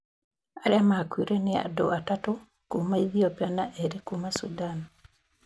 Arĩa makuire nĩ andũ atatũ kuma Ethiopia na erĩ kuma Sudan.